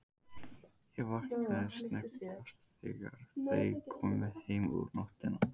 Ég vaknaði snöggvast þegar þau komu heim um nóttina.